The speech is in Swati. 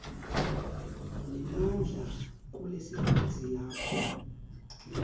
nemandla kulesigodzi lapho